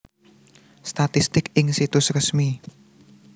Statistik ing Situs Resmi